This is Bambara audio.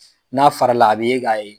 N'a farala a bɛ ye k'a ye.